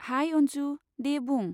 High, Anju ! दे बुं।